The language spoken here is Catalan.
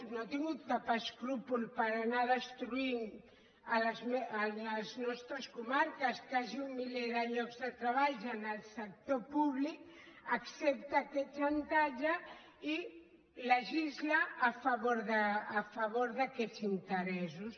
no ha tingut cap escrúpol per anar destruint a les nostres comarques quasi un miler de llocs de treballs en el sector públic accepta aquest xantatge i legisla a favor d’aquests interessos